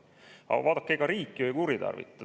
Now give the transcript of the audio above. Aga vaadake, ega riik ju ei kuritarvita.